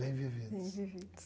Bem vividos. Bem vividos.